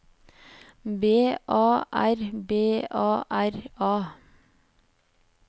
B A R B A R A